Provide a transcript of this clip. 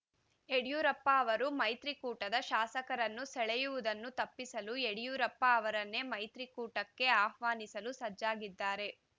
ಯಡಿಯೂರಪ್ಪ ಅವರು ಮೈತ್ರಿಕೂಟದ ಶಾಸಕರನ್ನು ಸೆಳೆಯುವುದನ್ನು ತಪ್ಪಿಸಲು ಯಡಿಯೂರಪ್ಪ ಅವರನ್ನೇ ಮೈತ್ರಿಕೂಟಕ್ಕೆ ಆಹ್ವಾನಿಸಲು ಸಜ್ಜಾಗಿದ್ದಾರೆ